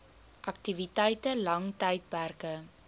aktiwiteite lang tydperke